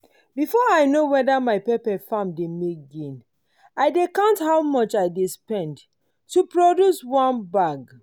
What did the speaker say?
before i know whether my pepper farm dey make gain i dey count how much i dey spend to produce one bag.